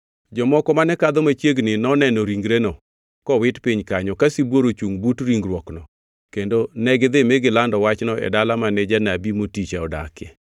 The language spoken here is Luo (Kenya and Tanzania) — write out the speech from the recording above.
Jomoko mane kadho machiegni noneno ringreno kowit piny kanyo, ka sibuor ochungʼ but ringruokno kendo negidhi mi gilando wachno e dala mane janabi moticha odakie.